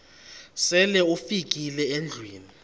sele ufikile endlwini